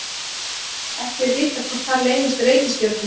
ekki er vitað hvort þar leynast reikistjörnur